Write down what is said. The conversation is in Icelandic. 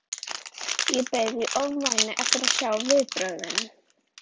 Ég beið í ofvæni eftir að sjá viðbrögðin.